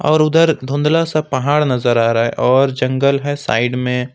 और उधर धुंधला सा पहाड़ नजर आ रहा हैं और जंगल हैं साईड में--